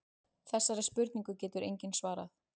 Þessari spurningu getur enginn svarað.